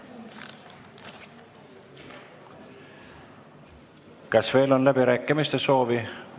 Kas on veel läbirääkimiste soovi?